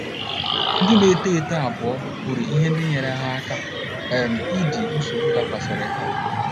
Ndị na - eto eto abụọ kwuru ihe ndị nyeere ha aka um idi nsogbu dakwasịrị ha.